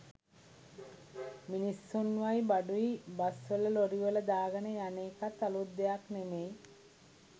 මිනිස්‌සුන්වයි බඩුයි බස්‌වල ලොරිවල දාගෙන යන එකත් අලුත් දෙයක්‌ නෙමෙයි.